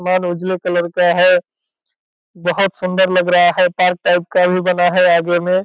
उजले कलर का है बहुत सुंदर लग रहा है पार्क टाइप का ही बना है आगे में।